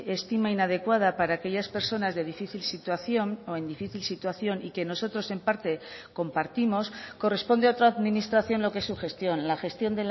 estima inadecuada para aquellas personas de difícil situación o en difícil situación y que nosotros en parte compartimos corresponde a otra administración lo que es su gestión la gestión